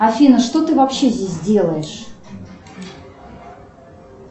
афина что ты вообще здесь делаешь